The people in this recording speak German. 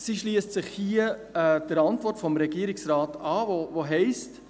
Sie schliesst sich hier der Antwort des Regierungsrates an, welche heisst: